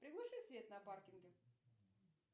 приглуши свет на паркинге